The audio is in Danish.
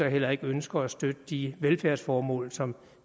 heller ikke ønsker at støtte de velfærdsformål som